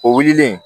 O wilili